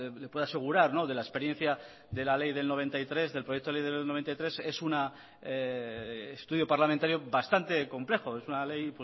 le puedo asegurar de la experiencia de la ley de mil novecientos noventa y tres del proyecto de ley de mil novecientos noventa y tres es un estudio parlamentario bastante complejo es una ley